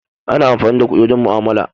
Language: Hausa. Ana amfani da kuɗi wajen mu'amala.